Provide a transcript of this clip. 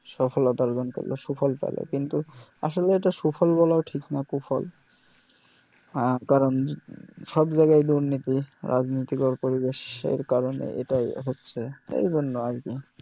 সফলতা অর্জন পেল সুফল পেলো কিন্তু আসলে এটা সুফল বলাও ঠিক না কুফল হ্যাঁ কারণ সব জায়গাই দুর্নীতি রাজনিতিকর পরিবেশের কারণে এটাই হচ্ছে এইজন্য আর কি